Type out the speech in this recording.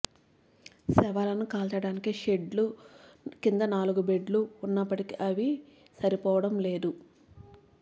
శవాలను కాల్చడానికి షెడ్డు కింద నాలుగు బెడ్లు ఉన్నప్పటికీ అవి సరిపోవడంలేదు